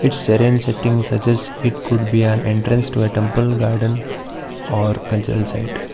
it's arrange settings suggest it could be an entrance to a temple garden or cultural site.